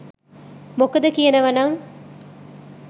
මොකද කියනව නං